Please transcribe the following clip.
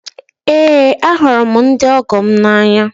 Eé, ahụrụ m ndị ọgọ m n'anya.